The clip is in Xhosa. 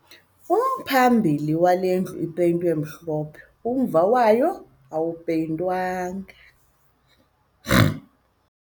Umphambili wale ndlu upeyintwe mhlophe kodwa umva wayo awupeyintwanga